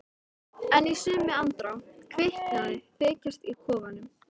En í sömu andrá kviknaði þykjast í kofanum.